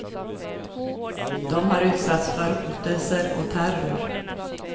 De har utsatts för hotelser och terror.